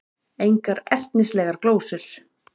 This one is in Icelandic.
Engar ertnislegar glósur.